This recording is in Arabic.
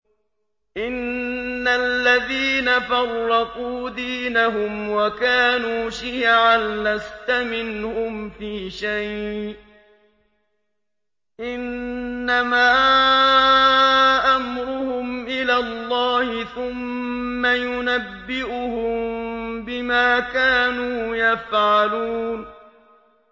إِنَّ الَّذِينَ فَرَّقُوا دِينَهُمْ وَكَانُوا شِيَعًا لَّسْتَ مِنْهُمْ فِي شَيْءٍ ۚ إِنَّمَا أَمْرُهُمْ إِلَى اللَّهِ ثُمَّ يُنَبِّئُهُم بِمَا كَانُوا يَفْعَلُونَ